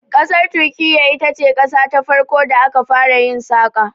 Ƙasar Turkiyya ita ce qasa ta farko da aka fara yin saƙa.